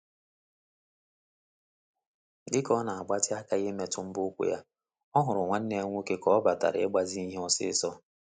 Dịka ọ na agbatị aka imetụ mbọ ụkwụ ya, ọ hụrụ nwanneya nwoke ka ọ batara ịgbazi ihe ọ̀sị́sọ̀